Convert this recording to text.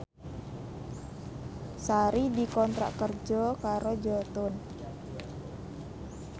Sari dikontrak kerja karo Jotun